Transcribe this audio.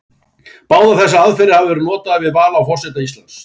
Báðar þessar aðferðir hafa verið notaðar við val á forseta Íslands.